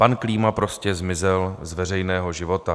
Pan Klíma prostě zmizel z veřejného života.